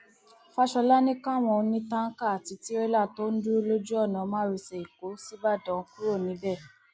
fàshólà ní káwọn onítànkà àti tìrẹlà tó ń dúró lójú ọnà márosẹ ẹkọ ṣíbàdàn kúrò níbẹ